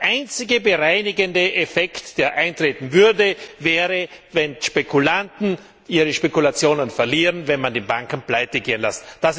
Der einzige bereinigende Effekt, der eintreten würde, wäre, wenn Spekulanten ihre Spekulationen verlieren, wenn man die Banken pleitegehen lässt.